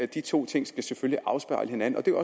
de to ting skal selvfølgelig afspejle hinanden og det er